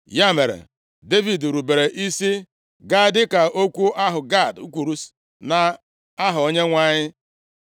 Ya mere, Devid rubere isi gaa dịka okwu ahụ Gad kwuru nʼaha Onyenwe anyị.